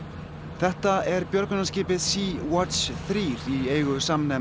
þetta er björgunarskipið Sea Watch þrjú í eigu